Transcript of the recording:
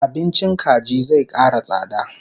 Abincin kaji zai kara tsada